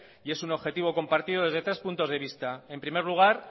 y es un objetivo compartido desde tres puntos de vista en primer lugar